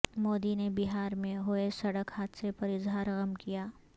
مودی نے بہار میں ہوئے سڑک حادثے پر اظہار غم کیا